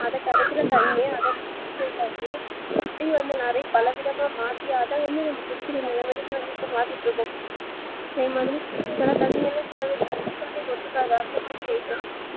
அத கிடைக்கிர தண்ணீ அத purify பண்ணி அப்டி அத பலவிதமா மாத்தி அத வந்து நம்ம குடிக்கிற நிலமைக்கி வந்து இப்ப மாத்திட்டு இருக்கோம் அதே மாதிர சில தண்ணீ எல்லாம் சில பேருக்கு குடிச்சாலே ஒத்துக்காது அந்த மாதிரி ஆய்டோம்